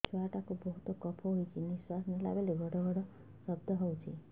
ଛୁଆ ଟା କୁ ବହୁତ କଫ ହୋଇଛି ନିଶ୍ୱାସ ନେଲା ବେଳେ ଘଡ ଘଡ ଶବ୍ଦ ହଉଛି